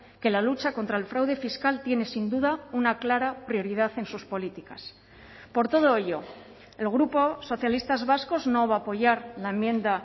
que la lucha contra el fraude fiscal tiene sin duda una clara prioridad en sus políticas por todo ello el grupo socialistas vascos no va a apoyar la enmienda